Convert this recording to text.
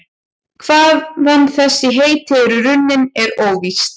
Hvaðan þessi heiti eru runnin er óvíst.